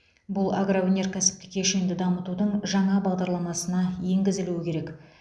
бұл агроөнеркәсіптік кешенді дамытудың жаңа бағдарламасына енгізілуі керек